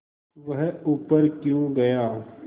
वह ऊपर क्यों गया